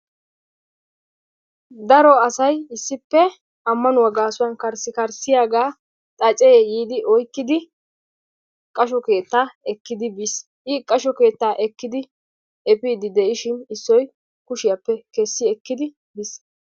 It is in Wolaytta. Daro asay issippe ammanuwaa gaasuwan karssi karssiyaagaa xacee yiidi oyqiidi qasho keetta ekkidi biis;I qasho keetta ekkidi epiidi diishin issoy kushshiiyaappe kessi ekkidi biis.